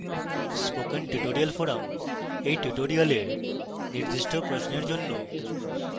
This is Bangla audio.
spoken tutorial forum এই tutorial নির্দিষ্ট প্রশ্নের জন্য